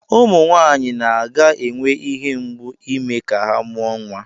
Ụmụ Nwaanyị ga na-enwe ihe mgbu ime ka ha mụọ nwa.